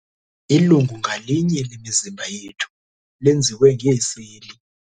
Ilungu ngalinye lemizimba yethu lenziwe ngeeseli.